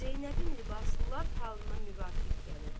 Zeynəbin libası lap halına müvafiq gəlirdi.